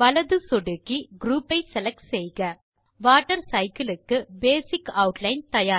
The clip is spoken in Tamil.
வலது சொடுக்கி குரூப் ஐ செலக்ட் செய்க வாட்டர் சைக்கிள் க்கு பேசிக் ஆட்லைன் தயார்